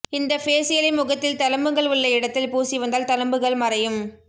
இந்த ஃபேசியலை முகத்தில் தழும்புகள் உள்ள இடத்தில பூசி வந்தால் தழும்புகள் மறையும்